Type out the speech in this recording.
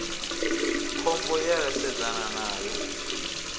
khombo ye ra sedzana nayo